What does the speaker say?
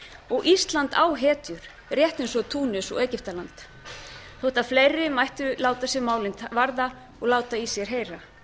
og ísland á hetjur rétt eins og túnis og egyptaland þótt fleiri mættu láta sig málin varða og láta í sér heyra